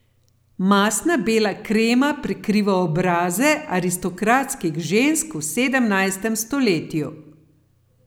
Mastna bela krema prekriva obraze aristokratskih žensk v sedemnajstem stoletju.